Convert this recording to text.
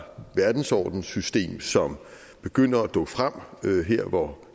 verdensordenssystem som begynder at dukke frem her hvor